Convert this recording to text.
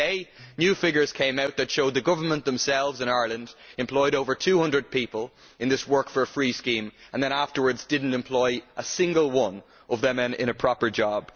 Just today, new figures came out that showed that the government itself in Ireland employed over 200 people in this work for free scheme and then afterwards did not employ a single one of them in a proper job.